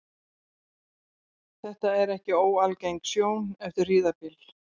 Þetta er ekki óalgeng sjón eftir hríðarbyl.